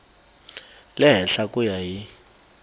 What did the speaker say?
le henhla ku ya hi